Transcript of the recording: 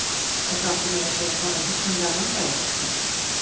Og það átti meira að segja að fara í hugsanlega Landeyjahöfn?